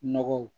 Nɔgɔw